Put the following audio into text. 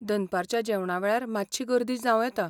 दनपारच्या जेवणा वेळार मात्शी गर्दी जांव येता.